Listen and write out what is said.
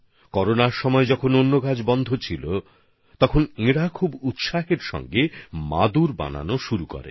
করোনার সময়ে যখন অন্য সমস্ত কাজ বন্ধ হয়ে গিয়েছিল তখন তাঁরা বিশেষ উৎসাহ উদ্দীপনার সঙ্গে মাদুর তৈরির কাজ শুরু করেন